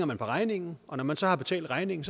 man på regningen og når man så har betalt regningen